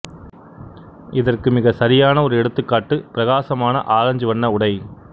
இதற்கு மிகச் சரியான ஒரு எடுத்துக்காட்டு பிரகாசமான ஆரஞ்சு வண்ண உடை